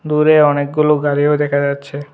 দূরে অনেকগুলো গাড়িও দেখা যাচ্ছে।